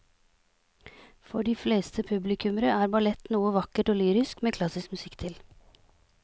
For de fleste publikummere er ballett noe vakkert og lyrisk med klassisk musikk til.